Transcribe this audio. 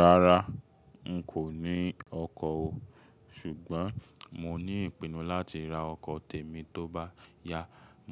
Rárá n kò ní ọkọ̀ o, ṣùgbọ́n mo ní ìpinnu láti ra ọkọ̀ tèmi tó bá yá.